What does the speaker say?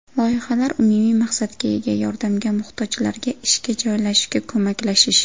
Loyihalar umumiy maqsadga ega yordamga muhtojlarga ishga joylashishga ko‘maklashish.